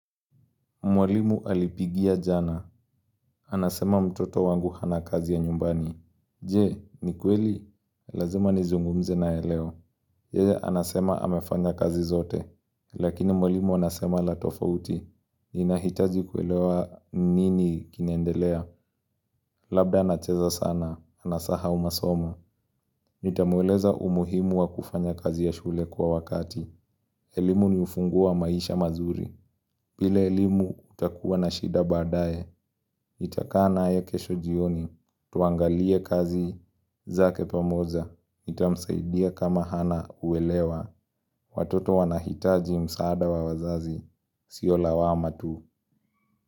Mwalimu alipigia jana. Anasema mtoto wangu hana kazi ya nyumbani. Je, ni kweli? Lazima nizungumze naye leo. Yeye anasema amefanya kazi zote. Lakini mwalimu anasema la tofauti. Ninahitaji kuelewa nini kinaendelea. Labda anacheza sana anasahau masomo. Nitamueleza umuhimu wa kufanya kazi ya shule kwa wakati. Elimu ni ufunguo wa maisha mazuri. Bila elimu utakuwa na shida baadaye. Nitakaa naye kesho jioni tuangalie kazi zake pamoja. Nitamsaidia kama hana uelewa. Watoto wanahitaji msaada wa wazazi sio lawama tu.